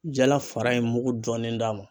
Jala fara in mugu dɔɔnin d'a ma.